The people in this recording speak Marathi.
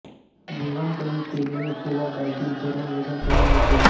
जेवण कमी केल्याने किंवा डाएटींग करुन वजन कमी होते